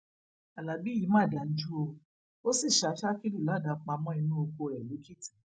alábí yìí mà dájú o ò sì ṣa sakiru ládàá pa mọ inú oko rẹ lèkìtì